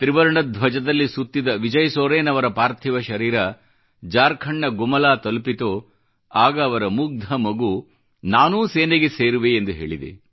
ತ್ರಿವರ್ಣ ಧ್ವಜದಲ್ಲಿ ಸುತ್ತಿದ ವಿಜಯ್ ಸೊರೇನ್ ಅವರ ಪಾರ್ಥಿವ ಶರೀರ ಜಾರ್ಖಂಡ್ನ ಗುಮಲಾ ತಲುಪಿತೋ ಆಗ ಅವರ ಮುಗ್ಧ ಮಗು ನಾನೂ ಸೇನೆಗೆ ಸೇರುವೆ ಎಂದು ಹೇಳಿದೆ